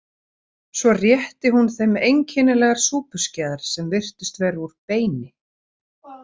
Svo rétti hún þeim einkennilegar súpuskeiðar sem virtust vera úr beini.